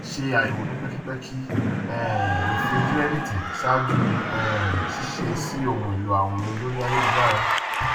ṣe àyẹwò ní pẹkipẹki àwọn um òfin kírẹdítì ṣáájú um ṣíṣe sí ohun èlò àwìn lórí ayélujára